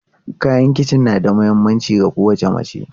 Kayan kici na da mahimmanci ga kowace mace.